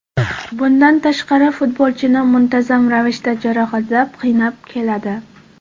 Bundan tashqari futbolchini muntazam ravishda jarohatlar qiynab keladi.